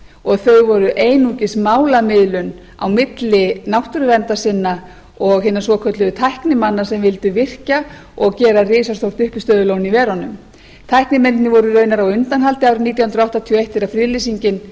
og þau voru einungis málamiðlun á milli náttúruverndarsinna og hinna svokölluðu tæknimanna sem vildu virkja og gera risastór uppistöðulón í verunum tæknimennirnir voru raunar á undanhaldi árið nítján hundruð áttatíu og eitt þegar friðlýsingin